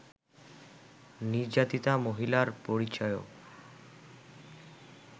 নির্যাতিতা মহিলার পরিচয়ও